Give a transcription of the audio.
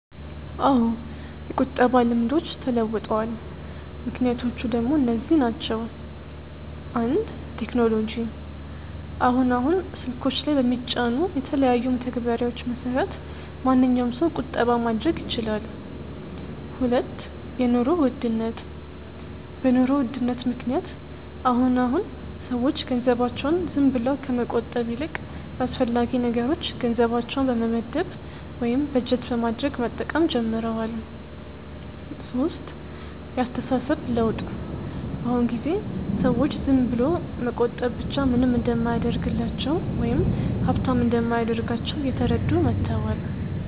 አዎ የቁጠባ ልምዶች ተለውጠዋል። ምክንያቶቹ ደሞ እነዚህ ናቸው፦ 1. ቴክኖሎጂ፦ አሁን አሁን ስልኮች ላይ በሚጫኑ የተለያዩ መተግበሪያዎች መሰረት ማንኛዉም ሰው ቁጠባ ማድረግ ይችላል 2. የኑሮ ውድነት፦ በ ኑሮ ውድነት ምክንያት አሁን አሁን ሰዎች ገንዘባቸውን ዝም ብለው ከመቆጠብ ይልቅ ለአስፈላጊ ነገሮች ገንዘባቸውን በመመደብ ወይም በጀት በማድረግ መጠቀም ጀምረዋል 3. የ አስተሳሰብ ለውጥ፦ በ አሁን ጊዜ ሰዎች ዝም ብሎ መቆጠብ ብቻ ምንም እንደማያደርግላቸው ወይም ሃብታም እንደማያደርጋቸው እየተረዱ መተዋል